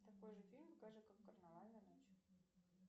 такой же фильм покажи как карнавальная ночь